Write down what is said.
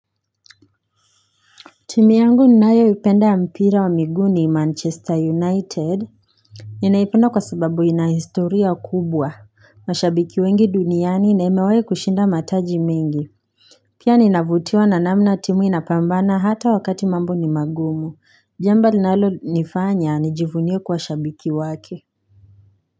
Timu yangu ninayoipenda ya mpira wa miguu ni manchester united ninaipenda kwa sababu inahistoria kubwa mashabiki wengi duniani na imeweza kushinda mataji mingi pia ninavutiwa na namna timu inapambana hata wakati mambo ni magumu jambo linalonifanya nijivunie kuwa shabiki wake.